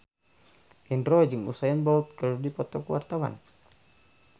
Indro jeung Usain Bolt keur dipoto ku wartawan